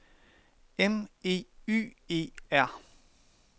M E Y E R